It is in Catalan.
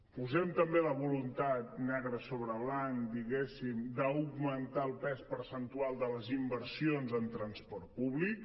posem també la voluntat negre sobre blanc diguéssim d’augmentar el pes percentual de les inversions en transport públic